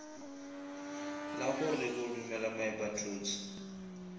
la go re kodumela moepathutse